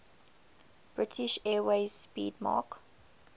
british airways 'speedmarque